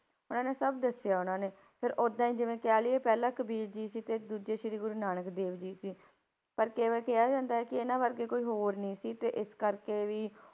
ਉਹਨਾਂ ਨੇ ਸਭ ਦੱਸਿਆ ਉਹਨਾਂ ਨੇ, ਫਿਰ ਓਦਾਂ ਹੀ ਜਿਵੇਂ ਕਹਿ ਲਈਏ ਪਹਿਲਾਂ ਕਬੀਰ ਜੀ ਸੀ ਤੇ ਦੂਜੇ ਸ੍ਰੀ ਗੁਰੂ ਨਾਨਕ ਦੇਵ ਜੀ ਸੀ, ਪਰ ਕਿਵੇਂ ਕਿਹਾ ਜਾਂਦਾ ਹੈ ਕਿ ਇਹਨਾਂ ਵਰਗੇ ਕੋਈ ਹੋਰ ਨੀ ਸੀ ਤੇ ਇਸ ਕਰਕੇ ਵੀ